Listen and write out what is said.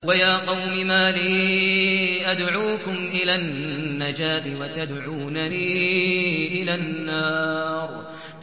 ۞ وَيَا قَوْمِ مَا لِي أَدْعُوكُمْ إِلَى النَّجَاةِ وَتَدْعُونَنِي إِلَى النَّارِ